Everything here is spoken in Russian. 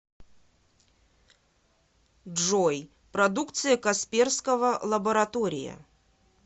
джой продукция касперского лаборатория